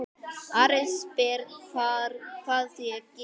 Ari spyr hvað ég geri.